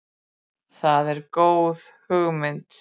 Það er góð hugmynd.